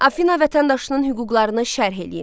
Afina vətəndaşının hüquqlarını şərh eləyin.